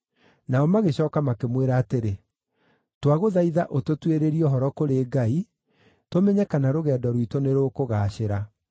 Nao magĩcooka makĩmwĩra atĩrĩ, “Twagũthaitha ũtũtuĩrĩrie ũhoro kũrĩ Ngai tũmenye kana rũgendo rwitũ nĩrũkũgaacĩra.”